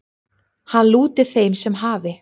Hann lúti þeim sem hafi